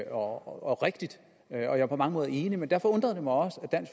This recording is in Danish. og rigtigt og jeg er på mange måder enig men derfor undrer det mig også at